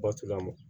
Batu laban